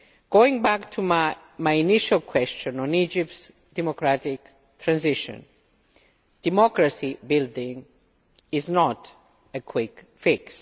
Going back to my initial question on Egypt's democratic transition, democracy building is not a quick fix'.